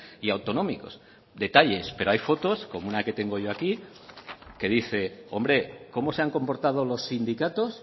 y autonómicos detalles pero hay fotos como una que tengo yo aquí que dice hombre cómo se han comportado los sindicatos